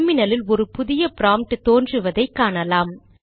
டெர்மினலில் ஒரு புதிய ப்ராம்ப்ட் தோன்றுவதை காணலாம்